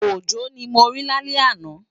Ojo ni mó ri lálè àná